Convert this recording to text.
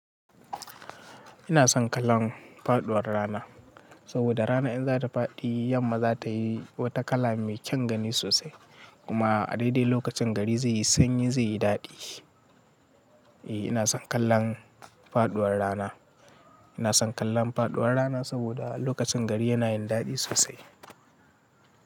Ina son kallon faɗuwar rana saboda rana in za ta faɗi, yamma za ta yi wata kala mai kyan gani sosai. Kuma a daidai lokacin gari zai yi sanyi, zai yi daɗi. Eh, ina son kallon faɗuwar rana. Ina son kallon faɗuwar rana saboda lokacin gari yana yin daɗi sosai.